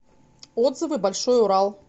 отзывы большой урал